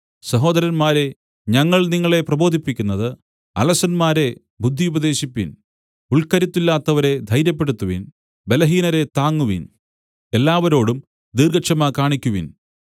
സഹോദരന്മാരേ ഞങ്ങൾ നിങ്ങളെ പ്രബോധിപ്പിക്കുന്നത് അലസന്മാരെ ബുദ്ധിയുപദേശിപ്പിൻ ഉൾക്കരുത്തില്ലാത്തവരെ ധൈര്യപ്പെടുത്തുവിൻ ബലഹീനരെ താങ്ങുവിൻ എല്ലാവരോടും ദീർഘക്ഷമ കാണിക്കുവിൻ